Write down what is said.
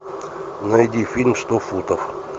найди фильм сто футов